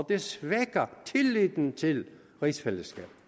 det svækker tilliden til rigsfællesskabet